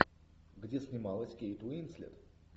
где снималась кейт уинслет